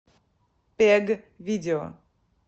пег видео